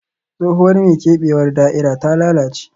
Tsohuwar mai keɓewar da'ira ta lalace